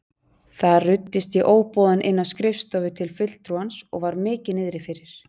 Þar ruddist ég óboðin inn á skrifstofu til fulltrúans og var mikið niðri fyrir.